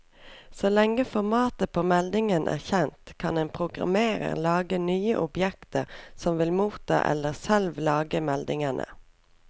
Så lenge formatet på meldingen er kjent, kan en programmerer lage nye objekter som vil motta eller selv lage meldingene.